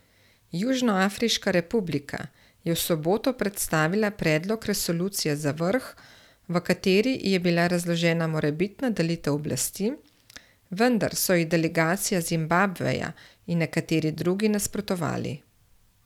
Južnoafriška republika je v soboto predstavila predlog resolucije za vrh, v kateri je bila razložena morebitna delitev oblasti, vendar so ji delegacija Zimbabveja in nekateri drugi nasprotovali.